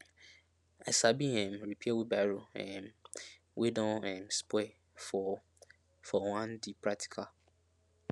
i sabi um repair wheelbarrow um wey don um spoil for for one di practical